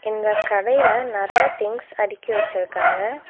இந்த கடையில நெறையா திங்ஸ் அடுக்கி வச்சுருக்காங்க.